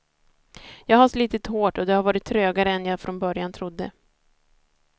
Jag har slitit hårt och det har varit trögare än jag från början trodde.